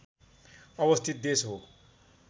अवस्थित देश हो